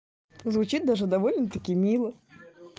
звучит даже довольно таки мило